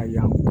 A ya fɔ